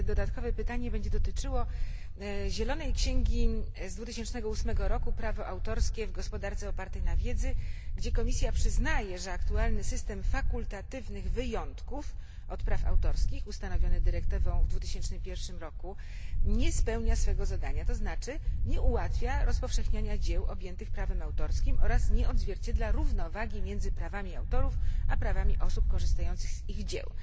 Dodatkowe pytanie będzie dotyczyło zielonej księgi z 2008 roku pod tytułem Prawo autorskie w gospodarce opartej na wiedzy, w której Komisja przyznaje, że aktualny system fakultatywnych wyjątków od praw autorskich ustanowiony dyrektywą w 2001 roku nie spełnia swego zadania, to jest nie ułatwia rozpowszechniania dzieł objętych prawem autorskim oraz nie odzwierciedla równowagi między prawami autorów a prawami osób korzystających z ich dzieł.